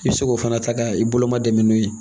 I bɛ se k'o fana ta ka i bolo ma dɛmɛ n'o ye